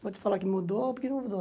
Vou te falar que mudou, porque não mudou.